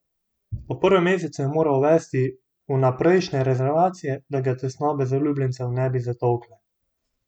Po prvem mesecu je moral uvesti vnaprejšnje rezervacije, da ga tesnobe zaljubljencev ne bi zatolkle.